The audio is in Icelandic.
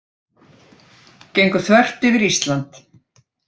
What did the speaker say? Gengu þvert yfir Ísland